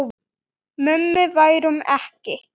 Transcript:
Mummi værum ekki.